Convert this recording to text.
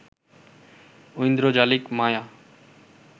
ঐন্দ্রজালিক মায়া